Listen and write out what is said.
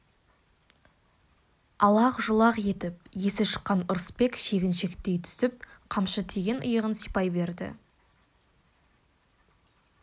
алақ-жұлақ етіп есі шыққан ырысбек шегіншектей түсіп қамшы тиген иығын сипай берді